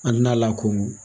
A na lakodɔn